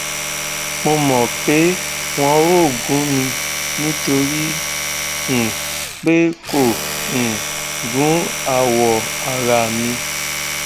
mo mọ pé wọn ò gún mi nítorí um pé kò um gún awọ ara mi